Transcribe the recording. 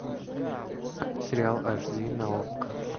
сериал аш ди на окко